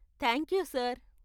Thank you, sir.